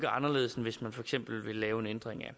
anderledes end hvis man for eksempel vil lave en ændring af